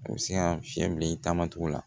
A bɛ se ka fiɲɛ bila i taama cogo la